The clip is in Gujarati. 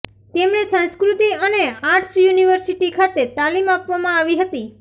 તેમણે સંસ્કૃતિ અને આર્ટસ યુનિવર્સિટી ખાતે તાલીમ આપવામાં આવી હતી